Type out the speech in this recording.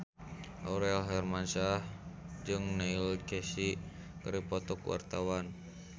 Aurel Hermansyah jeung Neil Casey keur dipoto ku wartawan